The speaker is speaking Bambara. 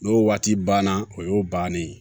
N'o waati banna o y'o bannen ye